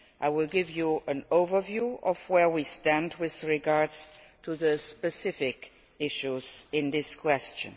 I will give you an overview of where we stand with regard to the specific issues in question.